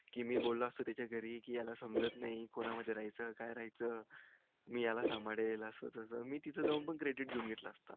कि मी बोलो असतो त्याच्या घरी याला समजत नई कोना मध्ये राहायच काय राह्यचं मी याला सांभाळेल असं तसं मी तिथे जाऊन पण credit घेऊन घेतलं असत